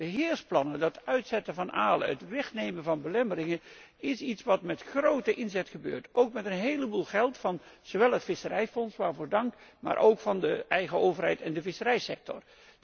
Die beheersplannen, dat uitzetten van alen, het wegnemen van belemmeringen, dat alles gebeurt met grote inzet. Met een heleboel geld ook van zowel het visserijfonds, waarvoor dank, maar ook van de eigen overheid en de visserijsector.